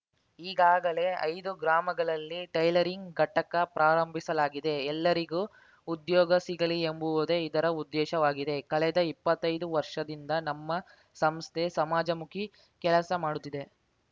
ಈಗಾಗಲೇ ಐದು ಗ್ರಾಮಗಳಲ್ಲಿ ಟೈಲರಿಂಗ್‌ ಘಟಕ ಪ್ರಾರಂಭಿಸಲಾಗಿದೆ ಎಲ್ಲರಿಗೂ ಉದ್ಯೋಗ ಸಿಗಲಿ ಎಂಬುವುದೇ ಇದರ ಉದ್ದೇಶವಾಗಿದೆ ಕಳೆದ ಇಪ್ಪತ್ತೈದು ವರ್ಷದಿಂದ ನಮ್ಮ ಸಂಸ್ಥೆ ಸಮಾಜಮುಖಿ ಕೆಲಸ ಮಾಡುತ್ತಿದೆ